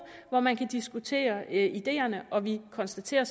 hvor man kan diskutere ideerne og vi konstaterer